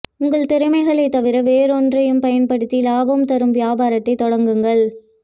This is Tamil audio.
உங்கள் திறமைகளைத் தவிர வேறொன்றையும் பயன்படுத்தி லாபம் தரும் வியாபாரத்தைத் தொடங்குங்கள்